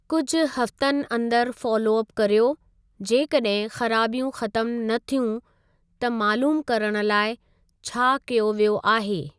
कुझु हफ़्तनि अंदरि फॉलो अप करियो जेकॾहिं ख़राबियूं ख़तमु न थियूं त मालूमु करणु लाइ छा कयो वियो आहे।